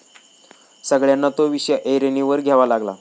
सगळ्यांना तो विषय ऐरणीवर घ्यावा लागला.